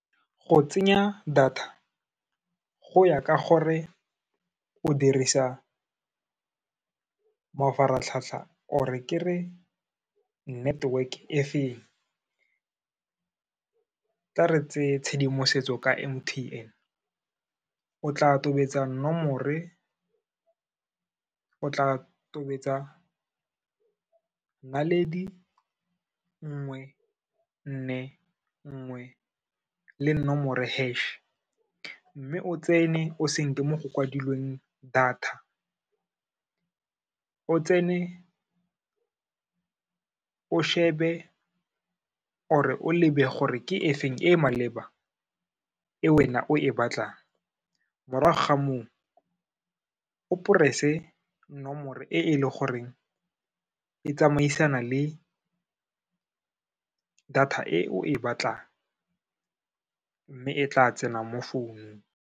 Go tsenya data, go ya ka gore o dirisa mafaratlhatlha or-re ke re network-e e feng. Tla re tse tshedimosetso ka M_T_N, o tla tobetsa nomore, o tla tobetsa naledi nngwe nne nngwe le nomore hash, mme o tsene o senke mo go kwadilweng data, o tsene, o shebe or-re o lebe gore ke e feng e maleba, e wena o e batlang, morago ga moo, o press-e nomoro e e le goreng e tsamaisana le data e o e batlang, mme e tla tsena mo founung.